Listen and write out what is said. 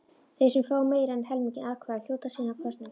Þeir sem fá meira en helming atkvæða hljóta síðan kosningu.